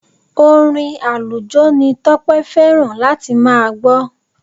Orin àlùjó ni Tọ́pẹ́ fẹ́ràn láti máa gbọ́.